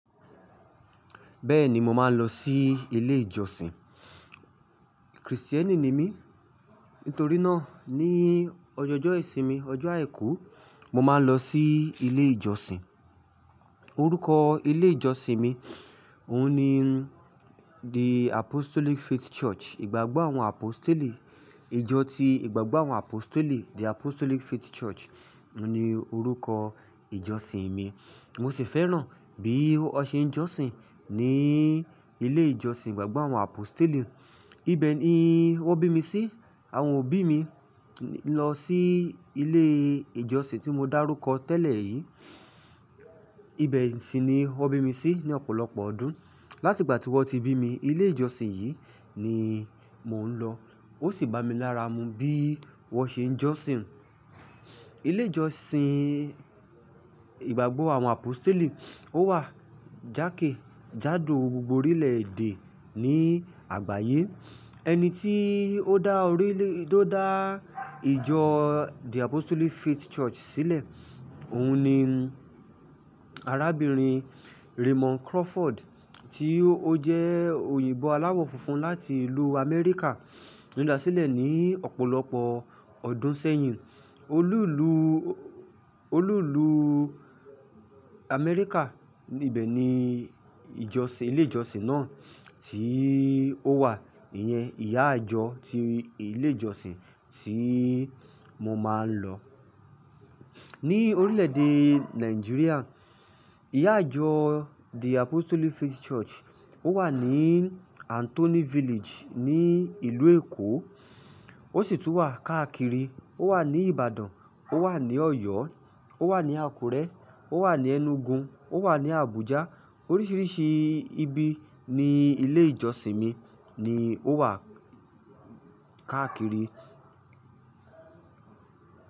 Beeni mo maa n lo si ile ijosin krisiteni ni mi nítorí náà ní ọjọọjọ́ ìsinmi, ọjọ́ àìkú, mo máa ń lọ sí ilé ìjọsìn. Orúkọ ilé ìjọsìn mi òun ni "The Apostolic Faith Church'. Ìgbàgbọ́ àwọn Apositeli, ìjọ ti Ìgbàgbọ́ àwọn Apositeli. The Apostolic Faith Church ni orúkọ ìjọsìn mi. Mo sì fẹ́ràn bí wọ́n ṣe ń jọ́sìn ní ilé ìjọsìn Ìgbàgbọ́ àwọn Apositeli. Ibẹ̀ ni wọ́n bí mi sí. Àwọn òbí mi lọ sí ilé ìjọsìn tí mo dárúkọ tẹ́lẹ̀ yìí. Ibẹ̀ sì ni wọ́n bí mi sí ní ọ̀pọ̀lọpọ̀ ọdún. Láti ìgbà tí wọ́n ti bí mi, ilé ìjọsìn yìí ni mò ń lọ. Ó sì bá mi lára mu bí wọ́n ṣe ń jọ́sìn. Ilé ìjọsìn Ìgbàgbọ́ àwọn Apostle ó wà jákèjádò gbogbo orílẹ̀èdè ní àgbáyé. Ẹni tí ó dá ìjọ The Apostolic Faith Church sílẹ̀, òun ni arábìnrin Raymond Crawford tí ó jẹ́ òyìnbó aláwọ̀ funfun láti ìlú Amẹ́ríkà ló da sílẹ̀ ní ọ̀pọ̀lọpọ̀ ọdún sẹ́yìn. Olú ìlú, Amẹ́ríkà. Ibẹ̀ ni ìjọsìn, ilé ìjọsìn náà tí ó wà. Ìyẹn ìyá ìjọ ti ilé ìjọsìn tí mo máa ń lọ. Ní orílẹ̀èdè Nàìjíríà, ìyá ìjọ The Apostolic Faith Church ó wà ní Anthony Village ní ìlú Èkó. Ó sì tún wà káàkiri. O wa ni Ibadan, o wa ni Oyo, o wa ni Akure, o wa ni Enugu, o wa ni Abuja. Oríṣiríṣi ibi ní ilé ìjọsìn mi ni ó wà káàkiri.